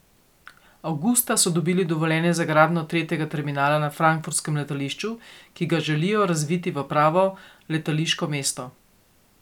Avgusta so dobili dovoljenje za gradnjo tretjega terminala na frankfurtskem letališču, ki ga želijo razviti v pravo letališko mesto.